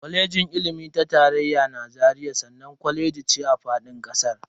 Kwalejin ilimi ta tarayya na Zaria sananne kwaleji ne a fadin kasar.